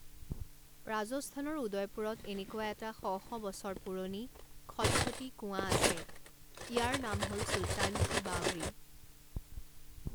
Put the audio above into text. ৰাজস্থানৰ উদয়পুৰত এনেকুৱা এটা শ শ বছৰ পুৰণি খটখটি কুঁৱা আছে, ইয়াৰ নাম হ ল চুলতান কি বাৱড়ী।